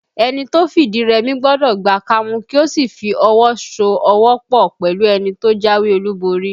Ẹni tó fìdí rẹmi gbọ́dọ̀ gba kámú kí ó sì fi ọwọ so ọwọ́ pọ̀ pẹ̀lú ẹni tó jáwé olúborí